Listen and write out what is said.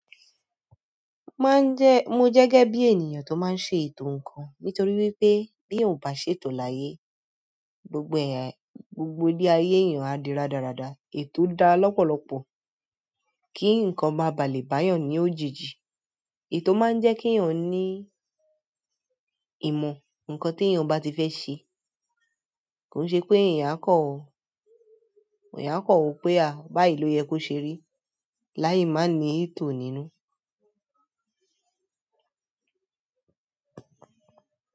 Mo máa ń jẹ, mo jẹ́ gẹ́gẹ́ bí ènìyàn tó máa ń ṣe ẹ̀to ǹkan. Nítorí wípé bí ò bá ṣe tó láyé, gbogbo ẹ̀, gbogbo ile ayé èèyàn á di rádaràda. Ètò dára lọ́pọ̀lọpọ̀ kí ǹkan máa ba lè bá èèyàn ní òjìji. Ẹ̀to máa ń jẹ́ kí èèyàn ní ìmọ̀, ǹkan tí èèyàn bá ti fẹ́ ṣe. Kò ṣe pé èèyàn á kọ̀ ọ́, eyan a kan wo pé báyìí ló yẹ kó ṣe rí. Láì má ní ètò nínú.